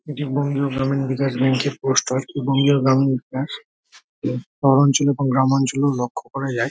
এইটি Bangiya Gramin Vikash bank -এর poster Bangiya Gramin Vikash শহরাঞ্চল গ্রামাঞ্চলেও লক্ষ যায়।